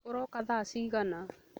Ũrooka tha cigana?